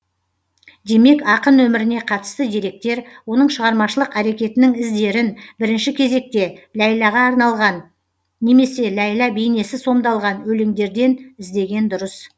демек ақын өміріне қатысты деректер оның шығармашылық әрекетінің іздерін бірінші кезекте ләйләға арналған немесе ләйлә бейнесі сомдалған өлеңдерден іздеген дұрыс